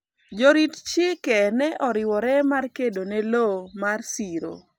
jorit chike ne oriwore mar kedo ne lowo mar siro